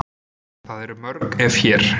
Það eru mörg ef hér.